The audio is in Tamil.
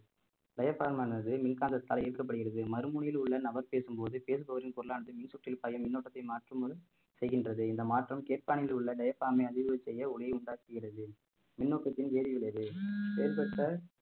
கேட்பானானது மின்காந்தத்தால் இயக்கப்படுகிறது மறுமுனையில் உள்ள நபர் பேசும் போது பேசுபவரின் பொருளானது மின் சுற்றில் பாயும் முன்னோட்டத்தை மாற்றும் முன் செய்கின்றது இந்த மாற்றம் கேட்ப்பானியில் உள்ள அதிர்வலை செய்ய ஒலியை உண்டாக்குகிறது மின்னோட்டத்தில் செயல்பட்ட